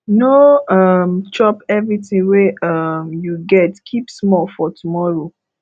no um chop everything wey um you get keep small for tomorrow